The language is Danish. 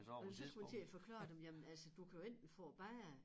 Men så skulle jeg til at forklare dem jamen altså du kan jo enten få det bedre